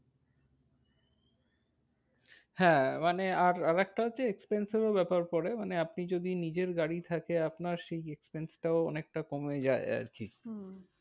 হ্যাঁ মানে আর আরেকটা হচ্ছে expense এরও ব্যাপার করে। মানে আপনি যদি নিজের গাড়ি থাকে আপনার সেই expense টাও অনেকটা কমে যায় আরকি। হম